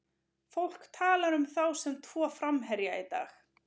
Fólk talar um þá sem tvo framherja í dag.